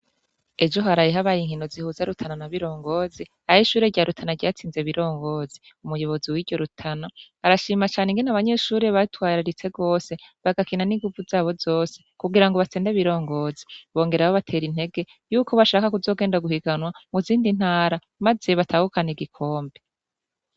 Ejo haraye habaye inkino zihuza Rutana na Birongozi ah’ishure rya Rutana ryatsinze Birongozi . Umuyobozi wiryo Rutana , arashima cane ingene abanyeshure batwararitse gose , bagakina n’inguvu zabo zose kugirango batsinde Birongozi, bongera babater’intege yuko bashaka kuzogenda guhiganwa muzindi ntara maze batahukan’igikombe.